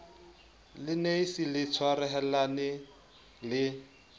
le nafci le tshwarahane le